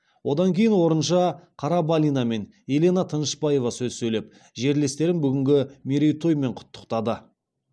одан кейін орынша қарабалина мен елена тынышпаева сөз сөйлеп жерлестерін бүгінгі мерейтойымен құттықтады